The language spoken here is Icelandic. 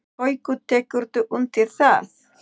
Haukur: Tekurðu undir það?